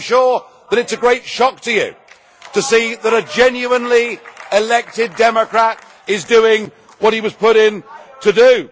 So I am sure that it's a great shock to you to see that a genuinely-elected democrat is doing what he was put in to do.